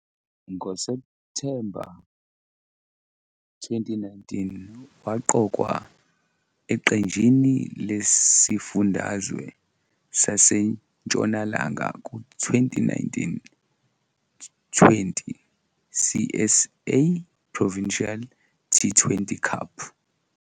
NgoSepthemba 2019, waqokwa eqenjini lesiFundazwe saseNtshonalanga ku- 2019-20 CSA Provincial T20 Cup.